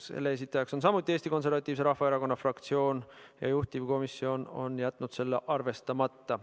Selle esitaja on samuti Eesti Konservatiivse Rahvaerakonna fraktsioon ja juhtivkomisjon on jätnud selle arvestamata.